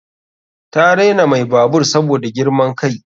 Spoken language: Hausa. Ta raina mai babur saboda girman kai.